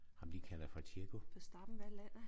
Ham de kalder for Checo